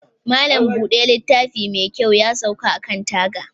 Malam Buda littafi mekyau yasauka akan taga.